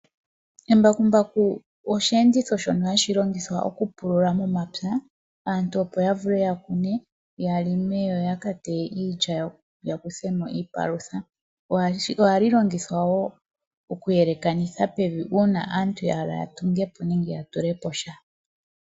Embakumbaku osheenditho shono hashi longithwa oku longa momapya, opo aantu ya longe noya kune yakateye iilya yawo. Ohali longithwa wo okuyeleka pevi aantu ngele ya hala okutunga po.